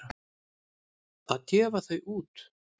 Að gefa þau út!